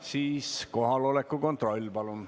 Siis teeme palun kohaloleku kontrolli.